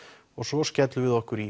og svo skellum við okkur í